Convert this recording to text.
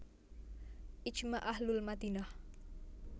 Ijma ahlul Madinah